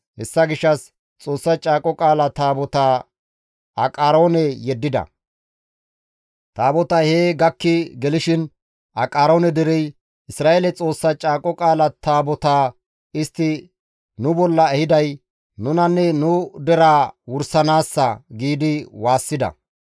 Hessa gishshas Xoossa Caaqo Qaala Taabotaa Aqaroone yeddida; Taabotay hee gakki gelishin Aqaroone derey, «Isra7eele Xoossa Caaqo Qaala Taabotaa istti nu bolla ehiday nunanne nu deraa wursanaassa» giidi waassida.